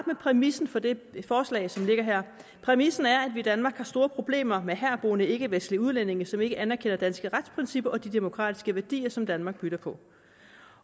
med præmissen for det forslag som ligger her præmissen er at vi i danmark har store problemer med herboende ikkevestlige udlændinge som ikke anerkender danske retsprincipper og de demokratiske værdier som danmark bygger på